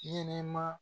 Ɲɛnɛma